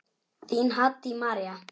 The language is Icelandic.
Þín, Haddý María.